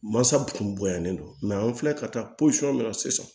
Mansaw kun bonyalen don an filɛ ka taa la sisan